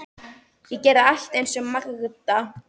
Ég gerði allt eins og Magda.